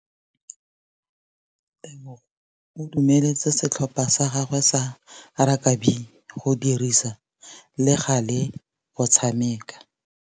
Tebogô o dumeletse setlhopha sa gagwe sa rakabi go dirisa le galê go tshameka.